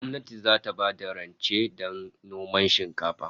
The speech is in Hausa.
Gwamnati zata bayar da rance don noman shinkafa